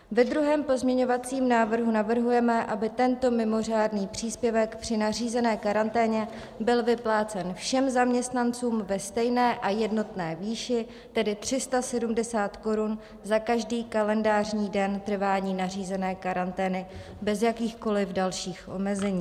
Ve druhém pozměňovacím návrhu navrhujeme, aby tento mimořádný příspěvek při nařízené karanténě byl vyplácen všem zaměstnancům ve stejné a jednotné výši, tedy 370 korun za každý kalendářní den trvání nařízené karantény bez jakýchkoliv dalších omezení.